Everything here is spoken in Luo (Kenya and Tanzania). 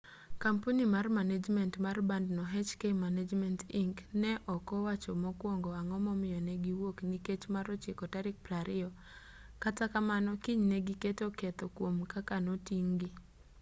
kampuni mar manejment mar bandno hk management inc. ne ok owacho mokuongo ang'o momiyo ne gi wuok nikech mar ochiko tarik 20 kata kamano kinyne giketo ketho kuom kaka noting'-gi